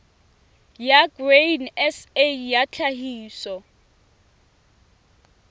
ya grain sa ya tlhahiso